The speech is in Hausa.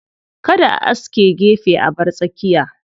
Kada a aske gefe a bar tsakiya.